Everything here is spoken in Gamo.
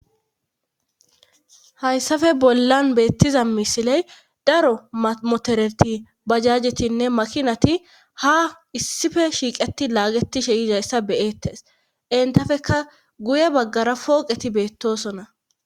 hayssafe bollan beettiza misiley daro motereti bajajetinne makinati ha issife shiiqeti laagetishe izayssa beyettes entafeka guye baggara pooqeti beettosonna